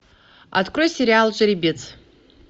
открой сериал жеребец